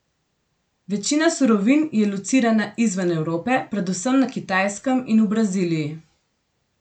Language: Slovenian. Večina surovin je locirana izven Evrope, predvsem na Kitajskem in v Braziliji.